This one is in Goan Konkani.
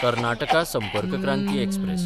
कर्नाटका संपर्क क्रांती एक्सप्रॅस